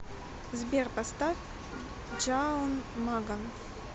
сбер поставь джаун маган